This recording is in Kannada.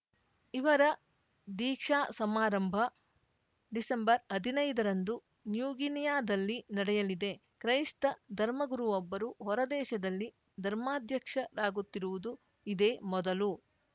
ಇವರ ದೀಕ್ಷಾ ಸಮಾರಂಭ ಡಿಸೆಂಬರ್ಹದ್ನೈದರಂದು ನ್ಯೂಗಿನಿಯಾದಲ್ಲಿ ನಡೆಯಲಿದೆ ಕ್ರೈಸ್ತ ಧರ್ಮಗುರುವೊಬ್ಬರು ಹೊರದೇಶದಲ್ಲಿ ಧರ್ಮಾಧ್ಯಕ್ಷರಾಗುತ್ತಿರುವುದು ಇದೇ ಮೊದಲು